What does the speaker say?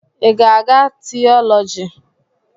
Ị ga-agụ́ tiiọlọgi?